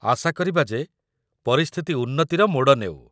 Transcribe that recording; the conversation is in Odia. ଆଶା କରିବା ଯେ ପରିସ୍ଥିତି ଉନ୍ନତିର ମୋଡ଼ ନେଉ ।